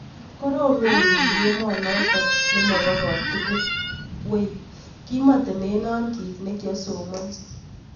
Koromen piik emonotok nemopoo kotugul wei. kimetemena kiit nekiasomanchini